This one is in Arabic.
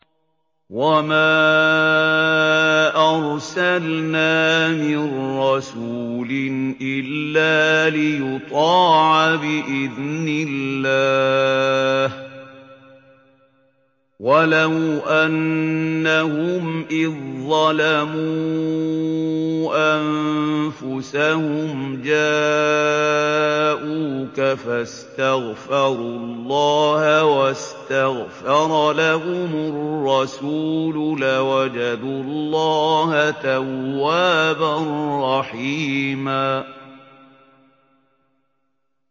وَمَا أَرْسَلْنَا مِن رَّسُولٍ إِلَّا لِيُطَاعَ بِإِذْنِ اللَّهِ ۚ وَلَوْ أَنَّهُمْ إِذ ظَّلَمُوا أَنفُسَهُمْ جَاءُوكَ فَاسْتَغْفَرُوا اللَّهَ وَاسْتَغْفَرَ لَهُمُ الرَّسُولُ لَوَجَدُوا اللَّهَ تَوَّابًا رَّحِيمًا